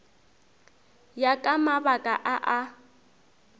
ya ka mabaka a a